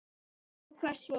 Og hvert svo?